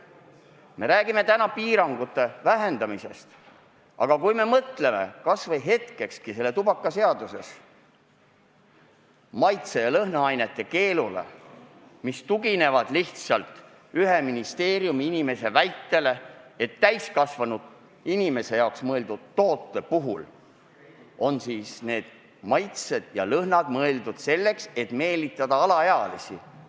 Me räägime piirangute vähendamisest, aga mõtleme kas või hetkekski tubakaseaduses olevale maitse- ja lõhnaainete keelule, mis tugineb lihtsalt ühe ministeeriumiinimese väitele, et täiskasvanud inimese jaoks mõeldud toodete puhul on maitsed ja lõhnad mõeldud selleks, et meelitada alaealisi.